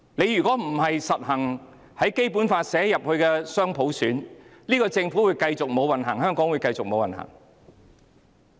如果不落實《基本法》訂明的雙普選，政府會繼續無運行、香港會繼續無運行。